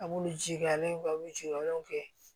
A b'ulu jijalen an b'u jukɔrɔlaw kɛ